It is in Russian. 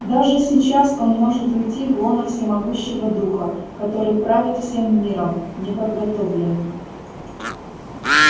даже сейчас он может уйти в лоно всемогущего духа который правит всем миром неподготовленным